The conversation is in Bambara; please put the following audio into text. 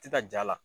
Ti ka ja la